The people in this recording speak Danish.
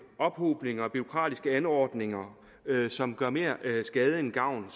ophobninger bureaukratiske anordninger som gør mere skade end gavn